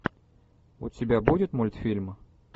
у тебя будет мультфильм